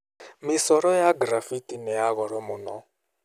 Mĩcoro ya graffiti nĩ ya goro mũno.